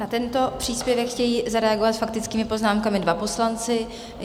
Na tento příspěvek chtějí zareagovat s faktickými poznámkami dva poslanci.